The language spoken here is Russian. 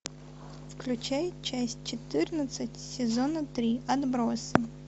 включай часть четырнадцать сезона три отбросы